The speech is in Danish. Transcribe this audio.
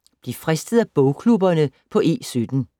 Bliv fristet af bogklubberne på E17